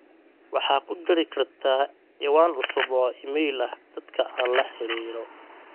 waxaa ku dari kartaa ciwaan cusub oo iimayl ah dadka aan la xiriiro